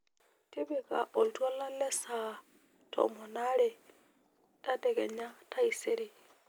tipika olntwala le saa tomon oore tadekenya taaisere